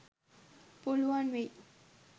පුළුවන් වෙයි.